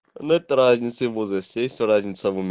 нет разницы в возрасте есть разница в уме